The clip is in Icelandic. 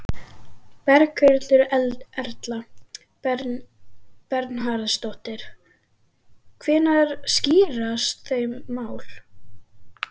Berghildur Erla Bernharðsdóttir: Hvenær skýrast þau mál?